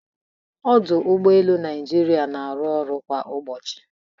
Ọdụ Ụgbọ elu Naijiria na-arụ ọrụ kwa ụbọchị